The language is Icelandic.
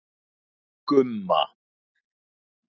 Gumma